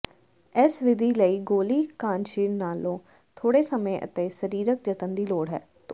ਇਸ ਵਿਧੀ ਲਈ ਗੋਲੀ ਕਾਂਸ਼ੀਰ ਨਾਲੋਂ ਥੋੜ੍ਹੇ ਸਮੇਂ ਅਤੇ ਸਰੀਰਕ ਜਤਨ ਦੀ ਲੋੜ ਹੈ